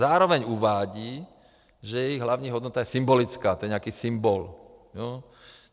Zároveň uvádí, že jejich hlavní hodnota je symbolická, to je nějaký symbol.